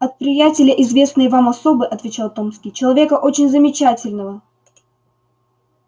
от приятеля известной вам особы отвечал томский человека очень замечательного